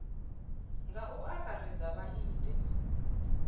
nga u angaredza vha ite